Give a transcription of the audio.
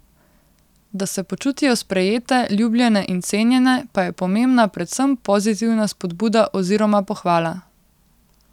Da se počutijo sprejete, ljubljene in cenjene, pa je pomembna predvsem pozitivna spodbuda oziroma pohvala.